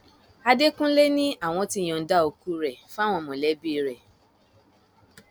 àdẹkùnlé ni àwọn ti yọǹda òkú rẹ fáwọn mọlẹbí rẹ